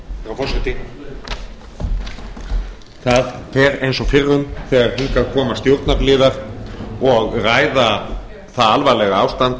herra forseti það fer eins og fyrrum þegar hingað koma stjórnarliðar og ræða það alvarlega ástand